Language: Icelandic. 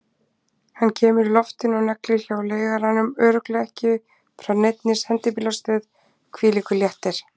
Hann kemur í loftinu og neglir hjá leigaranum, örugglega ekki frá neinni sendibílastöð, hvílíkur léttir!